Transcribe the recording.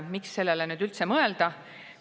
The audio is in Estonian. Miks sellele üldse mõelda?